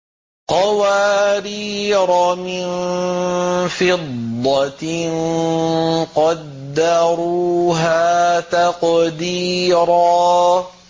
قَوَارِيرَ مِن فِضَّةٍ قَدَّرُوهَا تَقْدِيرًا